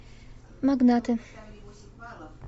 магнаты